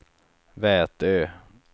Vätö